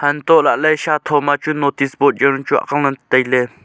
antohlahley shatho machu notice board jawnu chu awangley tailey.